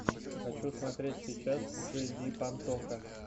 хочу смотреть сейчас джей ди пантоха